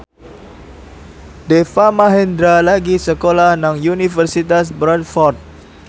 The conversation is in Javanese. Deva Mahendra lagi sekolah nang Universitas Bradford